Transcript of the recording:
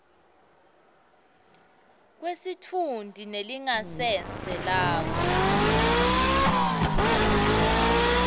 kwesitfunti nelingasese lakho